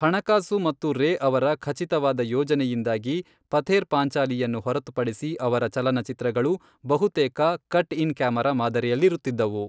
ಹಣಕಾಸು ಮತ್ತು ರೇ ಅವರ ಖಚಿತವಾದ ಯೋಜನೆಯಿಂದಾಗಿ, ಪಥೇರ್ ಪಾಂಚಾಲಿಯನ್ನು ಹೊರತುಪಡಿಸಿ ಅವರ ಚಲನಚಿತ್ರಗಳು ಬಹುತೇಕ ಕಟ್ ಇನ್ ಕ್ಯಾಮಾರಾ ಮಾದರಿಯಲ್ಲಿರುತ್ತಿದ್ದವು.